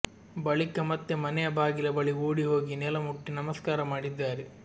ಬಳಿಕ ಮತ್ತೆ ಮನೆಯ ಬಾಗಿಲ ಬಳಿ ಓಡಿ ಹೋಗಿ ನೆಲ ಮುಟ್ಟಿ ನಮಸ್ಕಾರ ಮಾಡಿದ್ದಾರೆ